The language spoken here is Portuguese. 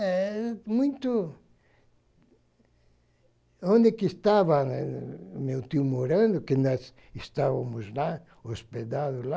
É muito... Onde que estava meu tio morando, que nós estávamos lá, hospedados lá,